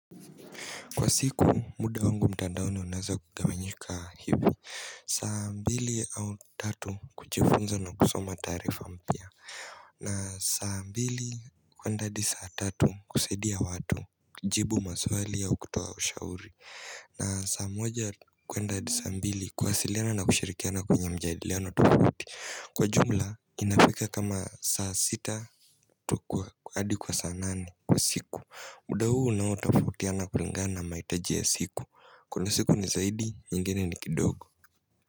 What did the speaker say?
Kwa siku muda wangu mtandaoni unaeza kugawanyika hivi saa mbili au tatu kujifunza na kusoma taarifa mpya na saa mbili kuenda hadi saa tatu kusaidia watu jibu maswali au kutoa ushauri na sa moja kuenda hadi saa mbili kuwasiliana na kushirikiana kwenye mjadiliano tofauti Kwa jumla inaweka kama saa sita tu kwa hadi kwa saa nane Kwa siku, muda huu na unaotofautiana kulingana na maitaji ya siku Kuna siku ni zaidi, nyingine ni kidogo.